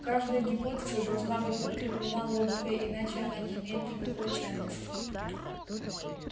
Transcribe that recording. каждая гипотеза должна быть подкреплена логикой иначе она не имеет никакой ценности